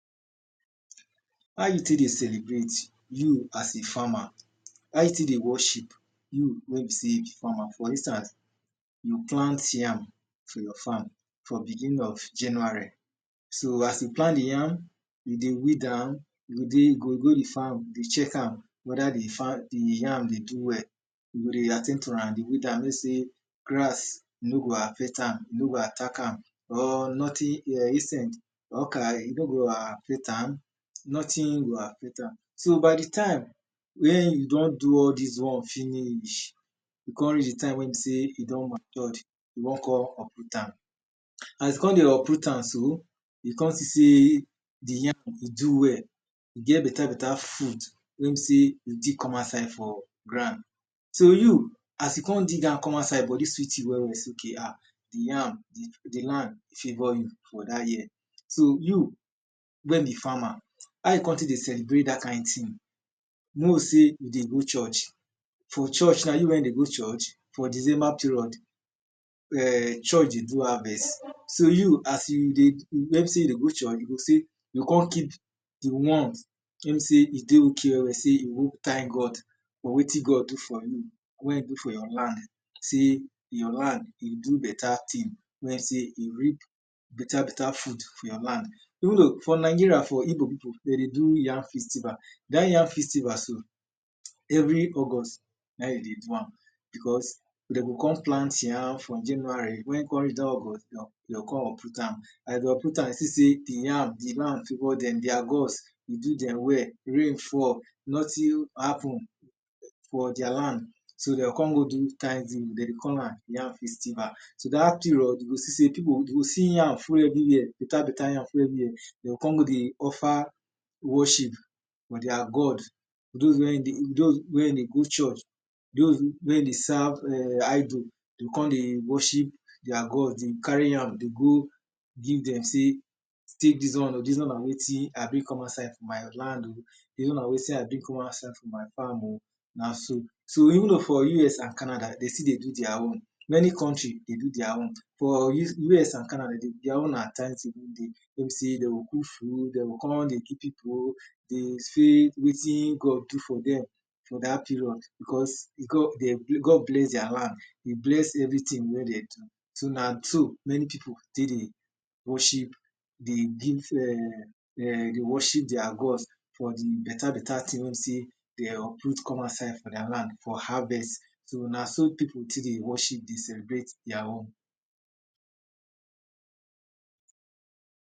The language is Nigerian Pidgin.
How you tek dey celebrate, you as a farmer? How you tek dey worship you wey be sey you be farmer? For instance you plant yam for your farm for begining of January, so as you plant the yam you dey weed am, you go go di farm dey check am whether the yam dey do well you go dey at ten d to am dey weed am mek sey grass no go affect am, e nor go attack am, or nothing, insect, e no go affect am, nothing go affect am So, by the time when you don do all dis one finish e don reach the time wey be sey e don mature, you wan come uproot am As you come dey uproot am so, you come see sey the yam e do well e get better better food wey be sey you dig come outside for ground So oh, as you come dig am come outside body sweet you well well sey okay, ah, di land favor you for dat year. So, you, when be farmer, how you come tek dey celebrate dat kind thing? mek we say, you dey go church For church now, you wey be sey you dey go church, for December period church dey do harvest So you, as when e be sey you dey go church, you go come keep the ones wey be sey e dey okay well well, you go go thank God for wetin God do for you wey e do for your land, you land e do better thing, wey be sey e reap better better food for your land Even though For Nigeria, for Ibo people, dem dey do yam festival dat yam festival so every August naim dem dey do am Because, dem go don plant yam for January, when w come reach dat August dem go come uproot am. As dem dey uproot am, dem go come see sey the land favor dem, dia gods do dem well, rain fall, nothing happen for dia land, so dem go come go do Thanksgiving dis Thanksgiving, dem dey call am yam festival So dat period you go see sey people, you go see yam full everywhere, better better yam full everywhere dem go come go dey offer worship for their god Those wey no dey go church, those wey dey serve idol, go come dey worship their gods, dey carry yam dey give dem, dey say tek dis one o, dis one na wetin I bring come outside for my land o, dis one na wetin I bring come outside for my farm o so, even though for US and Canada dem still dey do their own, everywhere dey do their own For US and Canada, their own na Thanksgiving day wey be sey dem go cook food, dem go come dey give people, dey think of wetin God do for dem for dat period because God bless their land, e bless everything wey dem do so na so many people tek dey worship, dey give eh, dey worship their gods